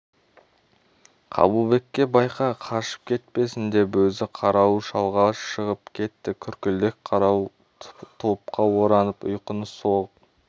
қабылбекке байқа қашып кетпесін деп өзі қарауыл шалға шығып кетті күркілдек қарауыл тұлыпқа оранып ұйқыны соғып